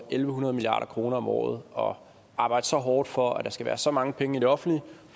en hundrede milliarder kroner om året og arbejder så hårdt for at der skal være så mange penge i det offentlige